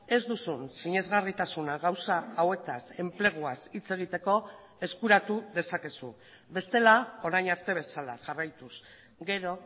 ez duzun sinesgarritasuna gauza hauetaz enpleguaz hitz egiteko eskuratu dezakezu bestela orain arte bezala jarraituz gero